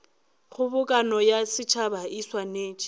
kgobokano ya setšhaba e swanetše